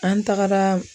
An tagara